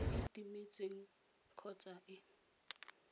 e e timetseng kgotsa e